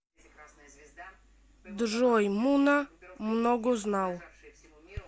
джой муна многознал